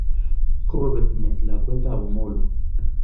Kokobet met lakwetab Omollo